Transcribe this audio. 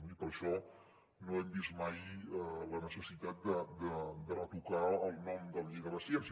i per això no hem vist mai la necessitat de retocar el nom de la llei de la ciència